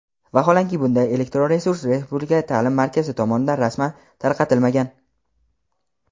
Vaholanki bunday elektron resurs Respublika ta’lim markazi tomonidan rasman tarqatilmagan.